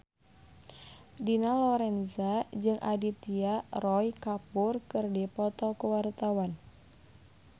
Dina Lorenza jeung Aditya Roy Kapoor keur dipoto ku wartawan